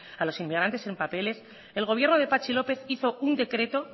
a los inmigrantes sin papeles el gobierno de patxi lópez hizo un decreto